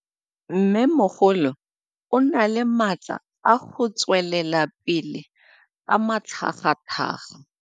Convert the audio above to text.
Mmêmogolo o na le matla a go tswelela pele ka matlhagatlhaga.